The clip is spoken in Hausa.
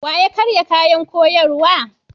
Wa ya karya kayan koyarwa?